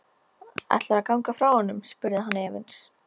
Ætlarðu að ganga frá honum? spurði hann efins.